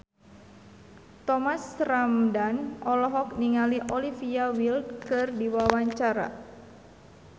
Thomas Ramdhan olohok ningali Olivia Wilde keur diwawancara